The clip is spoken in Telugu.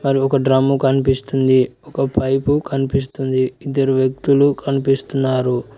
ఒక డ్రమ్ము కనిపిస్తుంది ఒక పైపు కనిపిస్తుంది ఇద్దరు వ్యక్తులు కనిపిస్తున్నారు.